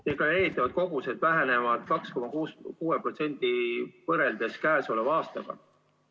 Deklareeritavad kogused vähenevad käesoleva aastaga võrreldes 2,6%.